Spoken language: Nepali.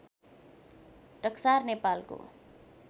टक्सार नेपालको